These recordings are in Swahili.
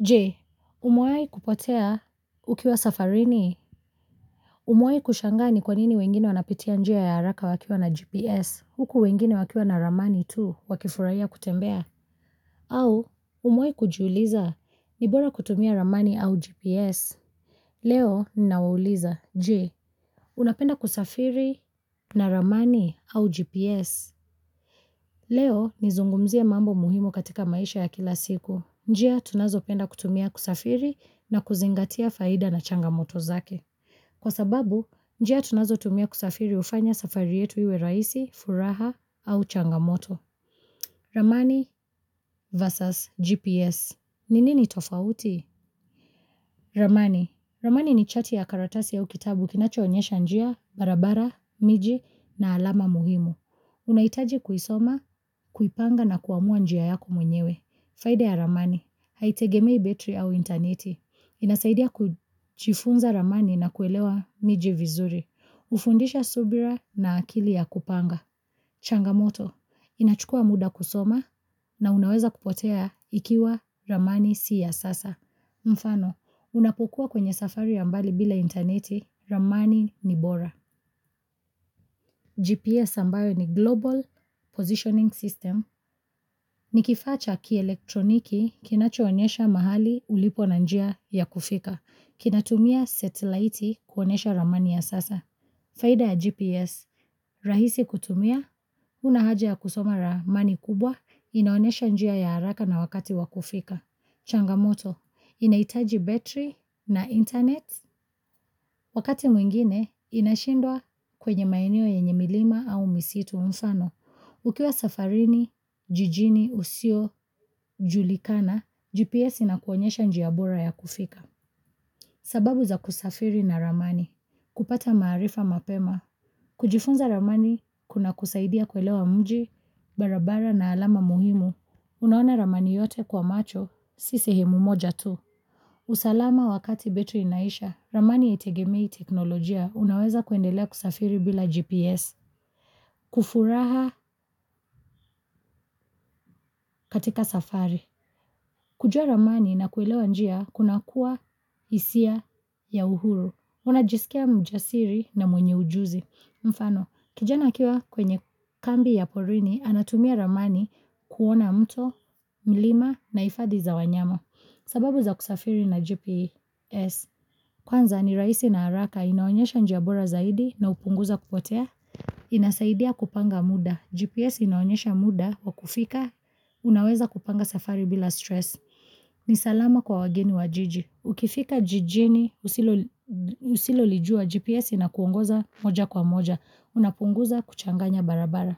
Je, umewai kupotea ukiwa safarini. Umewai kushangaa ni kwanini wengine wanapitia njia ya haraka wakiwa na GPS. Huku wengine wakiwa na ramani tu wakifurahiya kutembea. Au, umewahi kujiuliza ni bora kutumia ramani au GPS. Leo, ninawauliza. Je, unapenda kusafiri na ramani au GPS. Leo, nizungumzia mambo muhimu katika maisha ya kila siku. Njia tunazo penda kutumia kusafiri na kuzingatia faida na changamoto zake. Kwa sababu, njia tunazo tumia kusafiri hufanya safari yetu iwe raisi, furaha au changamoto. Ramani vs GPS. Nini ni tofauti? Ramani. Ramani ni chati ya karatasi au kitabu kinacho onyesha njia, barabara, miji na alama muhimu. Unahitaji kuisoma, kuipanga na kuamua njia yako mwenyewe. Faida ya ramani, haitegemei betri au interneti. Inasaidia kujifunza ramani na kuelewa mijivizuri. Hufundisha subira na akili ya kupanga. Changamoto, inachukua muda kusoma na unaweza kupotea ikiwa ramani siyo ya sasa. Mfano, unapokuwa kwenye safari ya mbali bila internet, ramani ni bora. GPS ambayo ni Global Positioning System, ni kifaa cha kielektroniki kinachoonesha mahali ulipo na njia ya kufika, kinatumia satellite kuonesha ramani ya sasa. Faida ya GPS, rahisi kutumia, unahaja ya kusoma ramani kubwa, inaonesha njia ya haraka na wakati wakufika. Changamoto, inahitaji battery na internet, wakati mwingine inashindwa kwenye maeneo yenye milima au misitu mfano. Ukiwa safarini, jijini, usio, julikana, GPS inakuonyesha njia bora ya kufika. Sababu za kusafiri na ramani, kupata maarifa mapema. Kujifunza ramani, kuna kusaidia kuelewa mji, barabara na alama muhimu. Unaona ramani yote kwa macho, siyo sehemu moja tu. Usalama wakati betri inaisha, ramani haitegemei teknolojia unaweza kuendelea kusafiri bila GPS. Kufuraha katika safari. Kujua ramani na kuelewa njia kuna kuwa hisia ya uhuru. Una jisikia mjasiri na mwenye ujuzi. Mfano, kijana akiwa kwenye kambi ya porini anatumia ramani kuona mto, milima na hifadhi za wanyama. Sababu za kusafiri na GPS. Kwanza ni rahisi na haraka inaonyesha njia bora zaidi na hupunguza kupotea. Inasaidia kupanga muda. GPS inaonyesha muda wa kufika. Unaweza kupanga safari bila stress. Ni salama kwa wageni wa jiji. Ukifika jijini usilolijua GPS ina kuongoza moja kwa moja. Unapunguza kuchanganya barabara.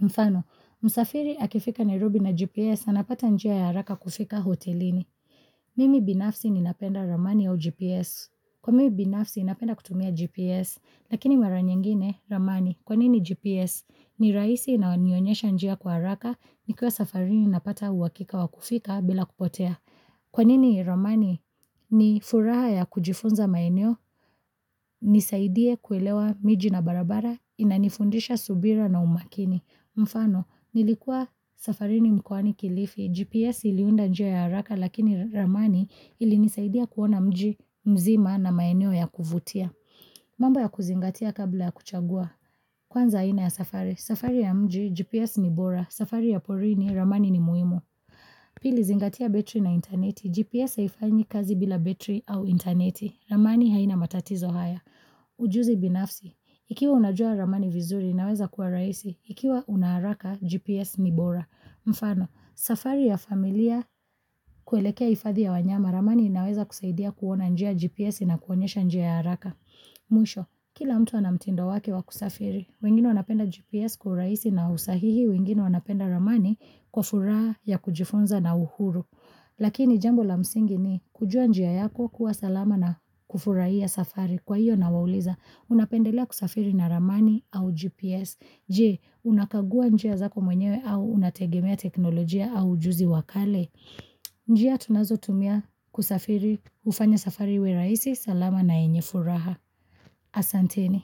Mfano, msafiri akifika nairobi na GPS, anapata njia ya haraka kufika hotelini. Mimi binafsi ninapenda ramani au GPS. Kwa mimi binafsi ninapenda kutumia GPS, lakini maranyingine, ramani, kwanini GPS? Ni rahisi na hunionyesha njia kwa haraka, nikiwa safari ninapata uhakika wa kufika bila kupotea. Kwanini Ramani ni furaha ya kujifunza maeneo, nisaidie kuelewa miji na barabara, inanifundisha subira na umakini. Mfano, nilikua safarini mkoani kilifi, GPS iliunda njia ya haraka lakini Ramani ili nisaidia kuona mji mzima na maeneo ya kuvutia. Mamba ya kuzingatia kabla ya kuchagua. Kwanza aina ya safari, safari ya mji, GPS ni bora, safari ya porini, Ramani ni muhimu. Pili zingatia betri na interneti. GPS haifanyi kazi bila betri au interneti. Ramani haina matatizo haya. Ujuzi binafsi. Ikiwa unajua ramani vizuri inaweza kuwa rahisi. Ikiwa unaharaka GPS nibora. Mfano, safari ya familia kuelekea hiadhi ya wanyama. Ramani inaweza kusaidia kuona njia GPS inakuonyesha njia ya haraka. Mwisho, kila mtu anamtindo wake wakusafiri, wengine wanapenda GPS kwaurahisi na usahihi, wengine wanapenda ramani kwa furaha ya kujifunza na uhuru Lakini jambo la msingi ni kujua njia yako kuwa salama na kufurahia safari kwa hiyo ninawauliza Unapendelea kusafiri na ramani au GPS Je, unakagua njia zako mwenyewe au unategemea teknolojia au ujuzi wa kale njia tunazo tumia kusafiri hufanya safari iwe rahisi salama na yenyefuraha Asanteni.